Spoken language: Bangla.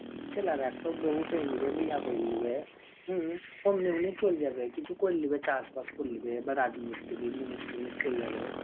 ছেলেরা একটু বউ পেয়ে লিবে. বিয়াহ করে লিবে. অমনি অমনি চল যাবে, কিছু করে লিবে, চাষবাস করে লিবে. এবার রাজমিস্ত্রি, মুনিশ, টুনিশ চলে যাবে.